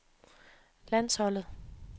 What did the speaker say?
landsholdet